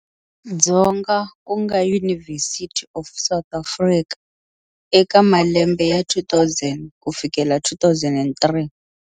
Dzonga ku nga University of South Africa eka malembe ya 2000 ku fikela 2003.